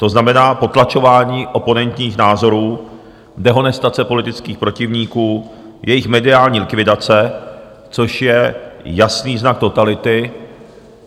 To znamená potlačování oponentních názorů, dehonestace politických protivníků, jejich mediální likvidace, což je jasný znak totality.